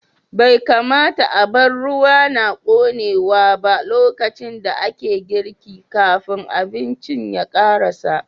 Bai kamata a bar ruwa na ƙonewa ba lokacin da ake girki, kafin abincin ya karasa.